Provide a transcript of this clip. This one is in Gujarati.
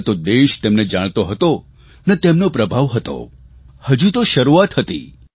ન તો દેશ તેમને જાણતો હતો ન તેમનો પ્રભાવ હતો હજુ તો શરૂઆત હતી